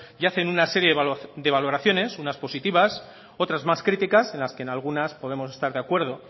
y hacen una serie de valoraciones unas positivas otras más críticas en las que en algunas podemos estar de acuerdo